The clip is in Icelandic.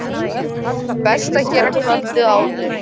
Best að gera kvöldið áður.